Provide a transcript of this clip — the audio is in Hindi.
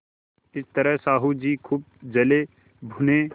इस तरह साहु जी खूब जलेभुने